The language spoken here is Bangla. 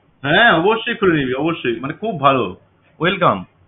হ্যাঁ অবশ্যই খুলে নিবি অবশ্যই মানে খুব ভালো welcome